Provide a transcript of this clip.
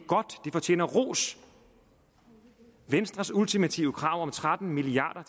fortjener ros venstres ultimative krav om tretten milliard